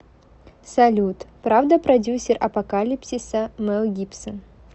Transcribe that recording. салют правда продюсер апокалипсиса мел гибсон